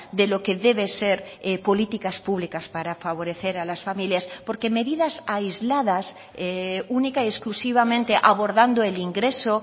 de lo que debe ser políticas públicas para favorecer a las familias porque medidas aisladas única y exclusivamente abordando el ingreso